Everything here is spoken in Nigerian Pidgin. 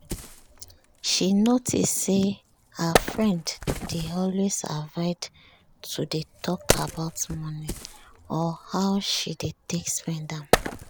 she notice say her friend dey always avoid to dey talk about money or how she dey take spend am